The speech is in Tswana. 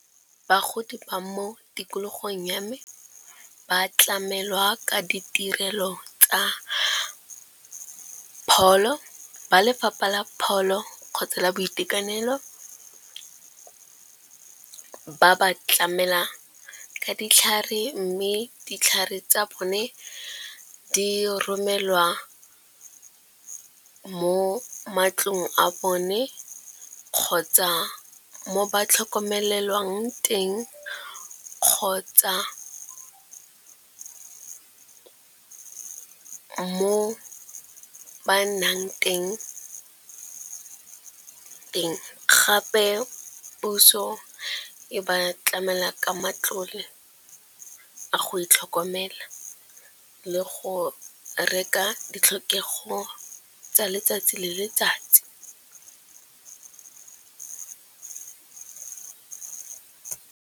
Bagodi ba mo tikologong ya me ba tlamelwa ka ditirelo tsa pholo. Ba lefapha la pholo kgotsa la boitekanelo ke ba ba tlamela ka ditlhare mme ditlhare tsa bone di romelwa mo matlong a bone, kgotsa mo ba tlhokomelwang teng, kgotsa mo ba nnang teng. Gape puso e ba tlamela ka matlole a go itlhokomela le go reka ditlhokego tsa letsatsi le letsatsi.